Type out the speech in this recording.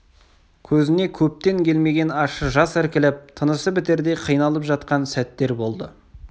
көзіне көптен келмеген ащы жас іркіліп тынысы бітердей қиналып жатқан сәттер болды